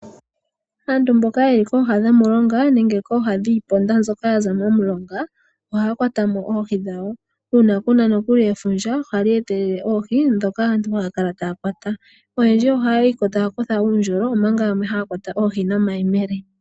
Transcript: Aantu mboka ye li kooha dhomulonga nenge dhiiponda mbyoka yili pooha nomulonga, ohaya kwata mo oohi dhawo. Uuna ku na nokuli efundja ohali etelele oohi ndhono taya kala taya kwata. Oyendji ohaya kutha uundjolo omanga yamwe haya kwata oohi nomayemele.